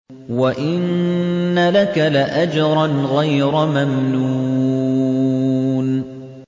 وَإِنَّ لَكَ لَأَجْرًا غَيْرَ مَمْنُونٍ